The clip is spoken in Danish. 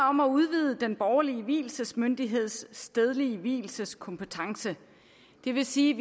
om at udvide den borgerlige vielsesmyndigheds stedlige vielseskompetence det vil sige